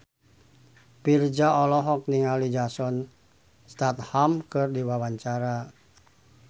Virzha olohok ningali Jason Statham keur diwawancara